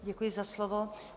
Děkuji za slovo.